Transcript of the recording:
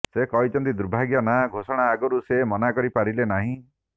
ସେ କହିଛନ୍ତି ଦୁର୍ଭାଗ୍ୟ ନାଁ ଘୋଷଣା ଆଗରୁ ସେ ମନା କରି ପାରିଲେ ନାହିଁ